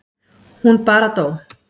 Hún bara dó.